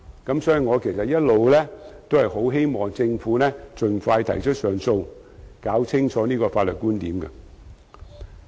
因此，我其實一直也希望政府盡快提出上訴，以釐清有關法律觀點。